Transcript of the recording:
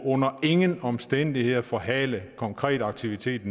under ingen omstændigheder forhale konkret aktivitet